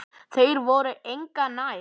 Þeir voru engu nær.